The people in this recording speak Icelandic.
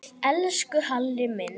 Elsku Halli minn.